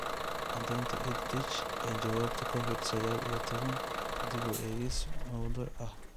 Caddaynta EdTech ee Jawaabta Covid sagaal iyo tobbaan: Dib u eegis mawduuc ah